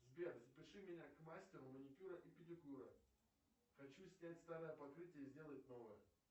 сбер запиши меня к мастеру маникюра и педикюра хочу снять старое покрытие и сделать новое